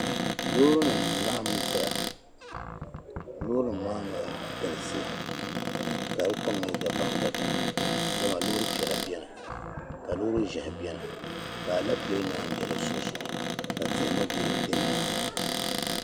Loorinima n-laɣim zaya. Loorinima maa mi galisiya ka di kom nyɛ dabamdabam dama loori piɛla beni ka loori ʒiɛhi beni ka alepile naan yi be di sunsuuni ka tihi mi be di nyaaŋga.